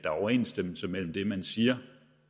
er overensstemmelse mellem det man siger